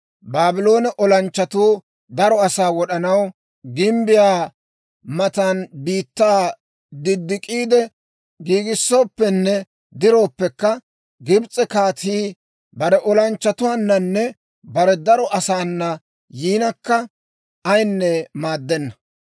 Baabloone olanchchatuu daro asaa wod'anaw gimbbiyaa matan biittaa diddik'iide giigissooppenne dirooppekka, Gibs'e kaatii bare olanchchatuwaananne bare daro asaana yiinakka, ayinne maaddenna.